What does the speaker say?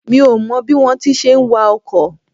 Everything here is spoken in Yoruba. Mi ò mọ bí wón ti ń ṣe wa ọkọ̀.